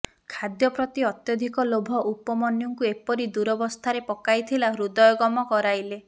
ଖାଦ୍ୟ ପ୍ରତି ଅତ୍ୟଧିକ ଲୋଭ ଉପମନ୍ୟୁଙ୍କୁ ଏପରି ଦୂରବସ୍ଥାରେ ପକାଇଥିଲା ହୃଦୟଙ୍ଗମ କରାଇଲେ